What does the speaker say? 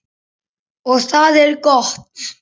Og það er gott.